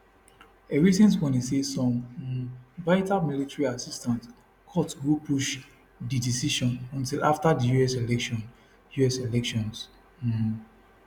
a recent warning say some um vital military assistance cut go push di decision until afta di us elections us elections um